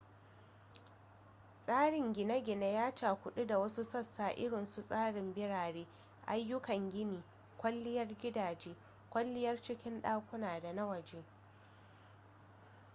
tsarin gine-gine ya cakudu da wasu sassa irinsu tsarin birane ayyukan gini kwalliyar gidaje kwalliyar cikin dakuna da na waje